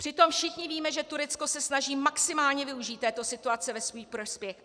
Přitom všichni víme, že Turecko se snaží maximálně využít této situace ve svůj prospěch.